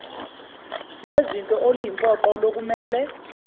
lwezinto oluyimpoqo lokumele